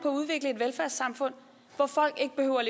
at udvikle et velfærdssamfund hvor folk ikke behøver